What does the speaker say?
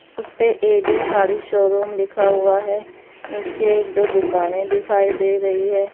उसपे A_ D_ sari showroom लिखा हुआ है नीचे एक दो दुकानें दिखाई दे रही है।